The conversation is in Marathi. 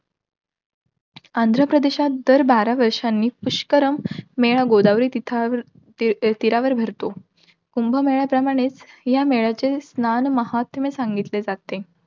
आंध्रप्रदेशात दर बारा वर्षांनी, पुष्करम मेळा, गोदावरी तिथ~ तीरावर भरतो. कुंभमेळा प्रमाणेच या मेळ्याचे स्नान महात्म्य सांगितले जाते.